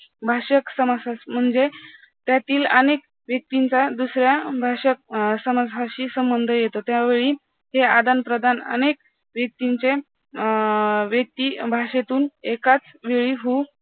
भाषक समाजशास्त्र म्हणजे त्यातील अनेक व्यक्तींचा दुसऱ्या भाषक अं समाजाशी संबंध येतो त्यावेळी हे आदान-प्रदान अनेक व्यक्तींचे अं व्यक्तीभाषेतून एकाच वेळी होऊ